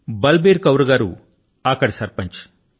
బల్ beer Kaur గారు అక్కడి సర్పంచ్